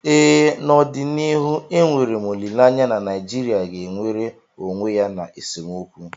ee, n’ọdịnihu enwere m olileanya na Naijirịa ga-enwere onwe ya n’esemokwu